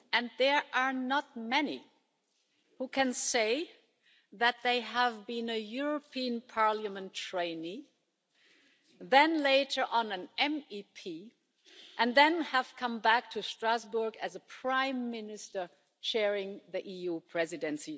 There are not many who can say that they have been a European Parliament trainee, then, later on, an MEP, and then come back to Strasbourg as a Prime Minister chairing the EU Presidency.